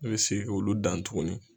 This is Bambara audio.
Ne bɛ segin k'olu dan tuguni.